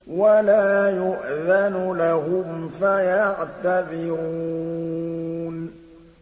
وَلَا يُؤْذَنُ لَهُمْ فَيَعْتَذِرُونَ